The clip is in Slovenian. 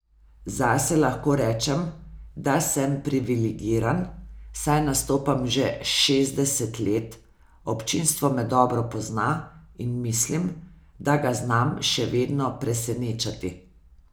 Zase lahko rečem, da sem privilegiran, saj nastopam že šestdeset let, občinstvo me dobro pozna in mislim, da ga znam še vedno presenečati.